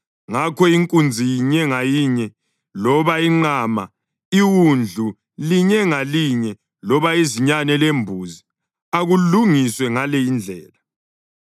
Ngakho inkunzi inye ngayinye loba inqama, iwundlu linye ngalinye loba izinyane lembuzi, akulungiswe ngale indlela.